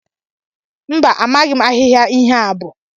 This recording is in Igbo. Mba, amaghị ahịhịa ihe a bụ.